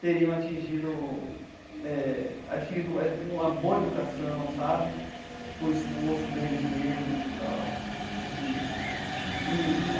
teriam atingido eh adquirido uma boa educação sabe com o esforço deles mesmos e tal assim e.